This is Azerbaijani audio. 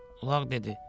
Ulaq dedi.